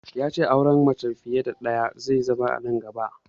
Ya ce al'adar auren mace fiye da ɗaya zai bi nan gaba